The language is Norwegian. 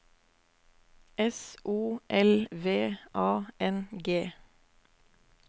S O L V A N G